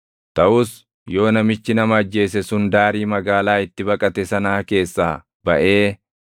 “ ‘Taʼus yoo namichi nama ajjeese sun daarii magaalaa itti baqate sanaa keessaa baʼee